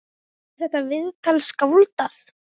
Er þetta viðtal skáldað?